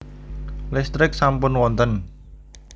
Listrik sampun wonten